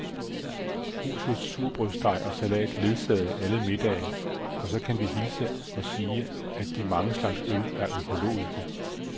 Husets surdejsbrød og salat ledsager alle middage, og så kan vi hilse og sige, at de mange slags øl alle er økologiske.